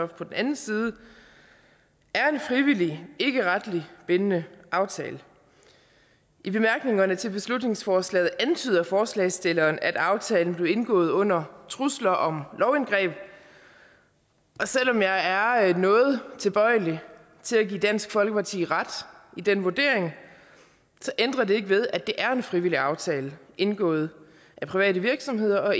den anden side er en frivillig ikkeretligt bindende aftale i bemærkningerne til beslutningsforslaget antyder forslagsstillerne at aftalen blev indgået under trusler om lovindgreb og selv om jeg er noget tilbøjelig til at give dansk folkeparti ret i den vurdering ændrer det ikke ved at det er en frivillig aftale indgået af private virksomheder og